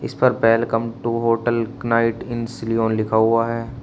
Sir welcome to hotel night in Shillong लिखा हुआ है।